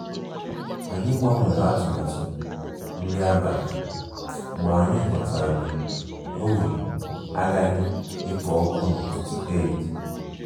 Anyị gbanwere atụmatụ nri abalị mgbe anyị ghọtara na oven agaghị ekpo ọkụ n'ụtụtụ Eid